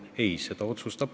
Ei läbi!